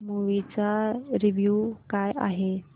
movie चा review काय आहे